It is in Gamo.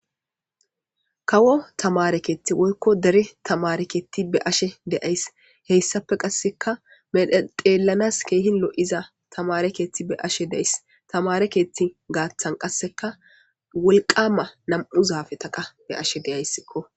Kawo tamare keththi woykko dere tamare keththi be'ashe de'aysi heyssape qasseka xellanas kehi lo'iza tamare keththi be'ashe de'aysi tamare keththi gaththan qasseka woliqqama nam'u zaffeta qa be'ashe de'aysiko.